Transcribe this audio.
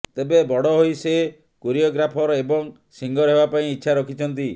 ତେବେ ବଡ଼ ହୋଇ ସେ କୋରିଓଗ୍ରାଫର ଏବଂ ସିଙ୍ଗର ହେବାପାଇଁ ଇଛା ରଖିଛନ୍ତି